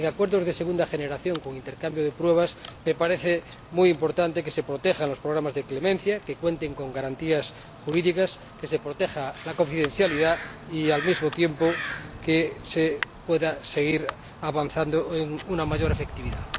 Y en relación con los acuerdos de segunda generación con intercambio de pruebas, me parece muy importante que se protejan los programas de clemencia, que cuenten con garantías jurídicas, que se proteja la confidencialidad y, al mismo tiempo, que se pueda seguir avanzando hacia una mayor efectividad.